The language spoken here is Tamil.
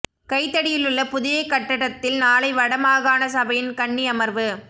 கைதடியிலுள்ள புதிய கட்டடத்தில் நாளை வட மாகாண சபையின் கன்னி அமர்வு